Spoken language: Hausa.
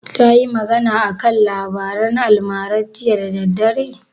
Tayi magana a kan labaran almara jiya da daddare?